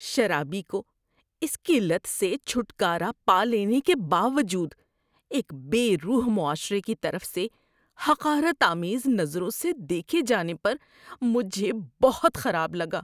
شرابی کو اس کی لت سے چھٹکارا پا لینے کے باوجود ایک بے روح معاشرے کی طرف سے حقارت آمیز نظروں سے دیکھے جانے پر مجھے بہت خراب لگا۔